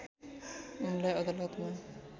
उनलाई अदालतमा